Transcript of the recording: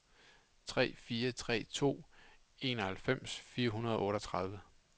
tre fire tre to fireoghalvfems fire hundrede og otteogtredive